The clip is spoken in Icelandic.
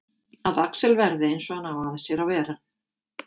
Að Axel verði eins og hann á að sér að vera.